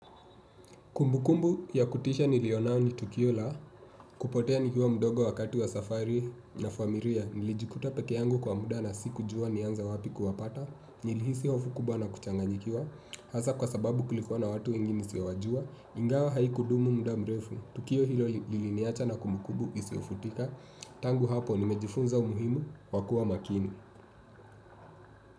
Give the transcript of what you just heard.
Kumbukumbu ya kutisha niliyonayo ni tukio la, kupotea nikiwa mdogo wakati wa safari na familia, nilijikuta peke yangu kwa muda na sikujua nianza wapi kuwapata, nilihisi hofu kubwa na kuchanganyikiwa, hasa kwa sababu kulikuwa na watu wengi nisiowajua, ingawa haikudumu muda mrefu, tukio hilo liliniacha na kumbukubu isiyofutika, tangu hapo nimejifunza umuhimu, wa kuwa makini.